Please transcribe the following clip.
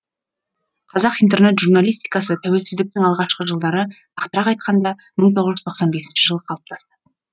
қазақ интернет журналистикасы тәуелсіздіктің алғашқы жылдары нақтырақ айтқанда мың тоғыз жүз тоқсан бесінші жылы қалыптасты